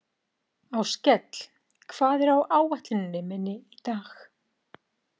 Áskell, hvað er á áætluninni minni í dag?